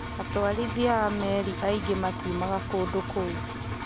Atwarithia a meri aingĩ matiumaga kũndu kũu.